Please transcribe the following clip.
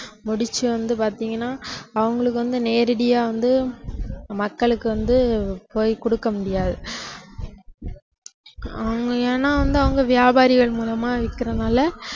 முடிச்சு வந்து பாத்தீங்கன்னா அவங்களுக்கு வந்து நேரடியா வந்து மக்களுக்கு வந்து போய் கொடுக்கமுடியாது அவங்க ஏன்னா வந்து அவங்க வியாபாரிகள் மூலமா விக்கிறதுனால